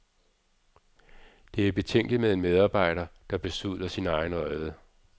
Det er betænkeligt med en medarbejder, der besudler sin egen rede.